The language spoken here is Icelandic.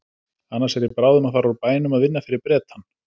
Annars er ég bráðum að fara úr bænum að vinna fyrir Bretann.